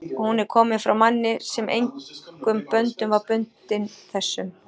og hún er komin frá manni, sem engum böndum var bundinn þessum